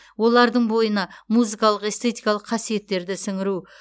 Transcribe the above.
олардың бойына музыкалық эстетикалық қасиеттерді сіңіру